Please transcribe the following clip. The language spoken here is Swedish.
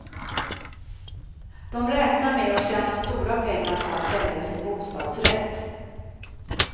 De räknar med att tjäna stora pengar på att sälja sin bostadsrätt.